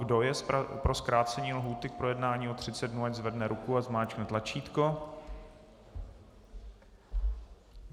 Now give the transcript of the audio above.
Kdo je pro zkrácení lhůty k projednání o 30 dnů, ať zvedne ruku a zmáčkne tlačítko.